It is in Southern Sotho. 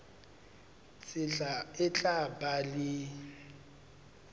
tsela e tla ba le